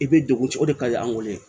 I bɛ degun ci o de ka ɲi an bolo yen